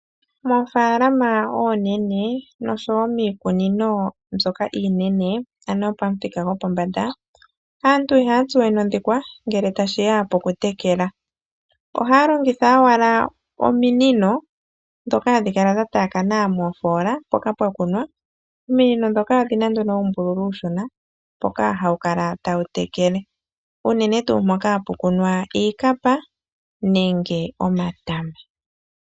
Miikunino iinene ndjono yopamuthika gwopombanda, aantu ihaya tsuwe nondhikwa ngele tashiya poku tekela iimeno, aantu ohaalongitha owala ominino ndhoka hadhi kala dhataakana moofola mpoka ha pu kala pwakunwa, nominino ndhika ohadhikala dha tsuwa uumbululu uushona wokutekela noku shashamina iimeno uunene tuu miikunino ndjoka hayi kunwa iikapa nenge omatama.